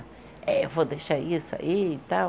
É, eu vou deixar isso aí e tal.